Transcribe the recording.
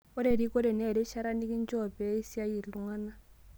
Ore erikore naa erishata nikinchooki pee isiaai iltung'ana